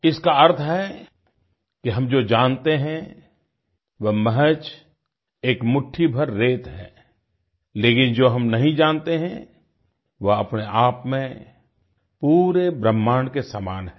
इसका अर्थ है कि हम जो जानते हैं वह महज़ मुट्ठीभर एक रेत है लेकिन जो हम नहीं जानते हैं वो अपने आप में पूरे ब्रह्माण्ड के समान है